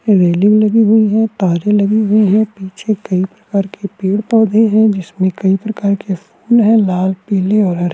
बिल्डिंगे लगी हुई है तारे लगी हुई है पिछे कही प्रकार की पेड़-पौधे हैं जिसमें कई प्रकार के फूल हैं लाल पीले और हरे।